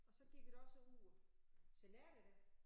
Og så gik det også ud. Generer det dig?